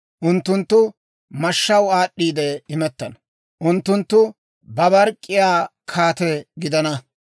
Unttunttu mashshaw aad'd'iide imettana; unttunttu babark'k'iyaa kaate gidana.